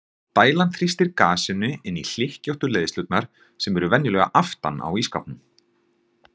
dælan þrýstir gasinu inn í hlykkjóttu leiðslurnar sem eru venjulega aftan á ísskápnum